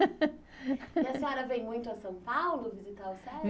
E a senhora vem muito a São Paulo visitar o?